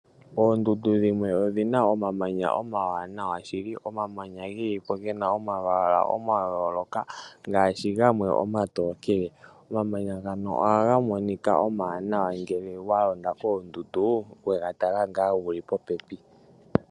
Oondundu dhimwe odhina omamanya omawanawa shili. Omamanya ge lipo gena omalwaala ga yooloka, ngaashi gamwe oma tookele. Omamanya ngano ohaga monika omawanawa ngele wa londa koondundu, wega tala ngaa wuli popepi.